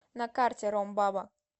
на карте ром баба